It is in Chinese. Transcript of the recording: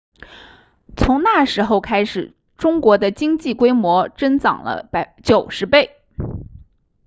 从那时候开始中国的经济规模增长了90倍